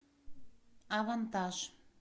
авантаж